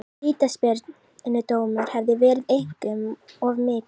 Vítaspyrnudómur hefði verið einum of mikið.